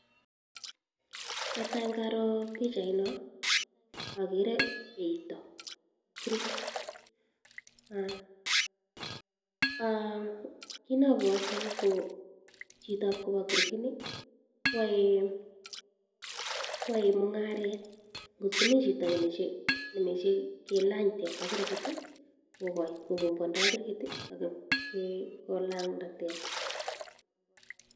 Netai ko karoo pichaino okere eito kirkit, Um kiit nobwoti ko chitab kobo kirkini koyoe iiin, koyoe mung'aret, kot komii chito nemoche kilany teta kirkit kokombwondoi kirkit ak kolang'anda teta.